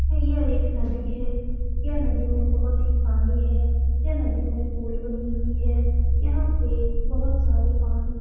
यह एक नदी है यह नदी में बहुत ही पानी है यह नदी में पूल बनी हुई है यहाँ पे बहुत सारे पानी --